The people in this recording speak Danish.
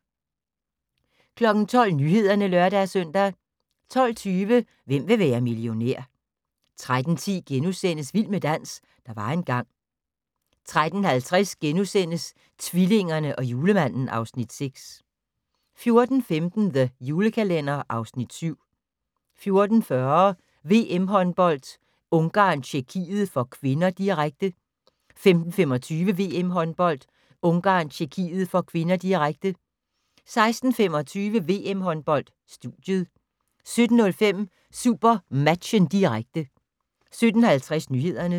12:00: Nyhederne (lør-søn) 12:20: Hvem vil være millionær? 13:10: Vild med dans - der var engang * 13:50: Tvillingerne og Julemanden (Afs. 6)* 14:15: The Julekalender (Afs. 7) 14:40: VM-håndbold: Ungarn-Tjekkiet (k), direkte 15:25: VM-håndbold: Ungarn-Tjekkiet (k), direkte 16:25: VM-Håndbold: Studiet 17:05: SuperMatchen, direkte 17:50: Nyhederne